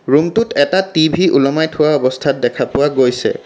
ৰুমটোত এটা টি_ভি ওলমাই থোৱা অৱস্থাত দেখা পোৱা গৈছে।